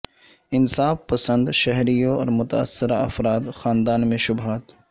انصاف پسند شہریوں اور متاثرہ افراد خاندان میں شبہات